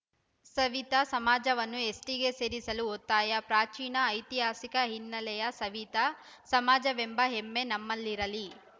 ಸವಿತಾ ಸಮಾಜವನ್ನು ಎಸ್ಟಿಗೆ ಸೇರಿಸಲು ಒತ್ತಾಯ ಪ್ರಾಚೀನ ಐತಿಹಾಸಿಕ ಹಿನ್ನೆಲೆಯ ಸವಿತಾ ಸಮಾಜವೆಂಬ ಹೆಮ್ಮೆ ನಮ್ಮಲ್ಲಿರಲಿ